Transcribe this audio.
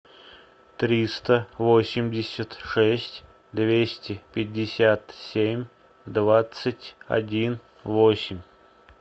триста восемьдесят шесть двести пятьдесят семь двадцать один восемь